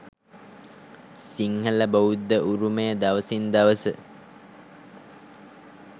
සිංහලබෞද්ධ උරුමය දවසින් දවස